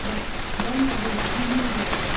бірақ бұдан жағдай түзелмей келеді